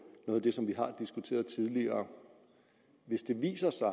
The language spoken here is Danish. noget af det som vi har diskuteret tidligere hvis det viser sig